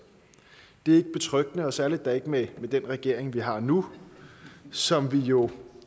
det er ikke betryggende og særlig da ikke med den regering vi har nu som vi jo